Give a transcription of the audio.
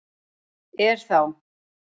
Er þá